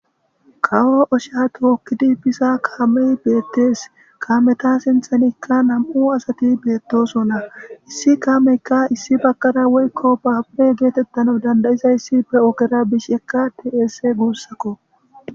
Kawo oshsha tokidi biza kaammey betes kammeta sinththanikka nam"u asti bettosona issi kameyikka issi bagara woyikko babure getetanas dandayizayssi be ogera bishshekka de'es gusakko